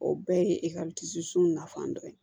O bɛɛ ye sun nafan dɔ ye